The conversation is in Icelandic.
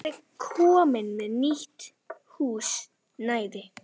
Ég frétti að þú værir komin með nýtt húsnæði.